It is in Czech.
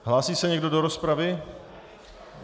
Hlásí se někdo do rozpravy?